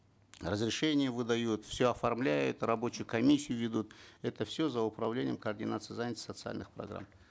разрешения выдают все оформляют рабочую комиссию ведут это все за управлением координации занятости социальных программ